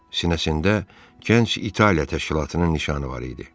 Sinəsində Gənc İtaliya təşkilatının nişanı var idi.